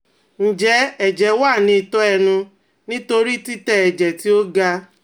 Njẹ ẹjẹ wa ni itọ ẹnu nitori titẹ ẹjẹ ti o ga?